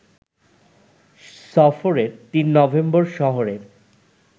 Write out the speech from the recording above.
সফরের ৩ নভেম্বর শহরের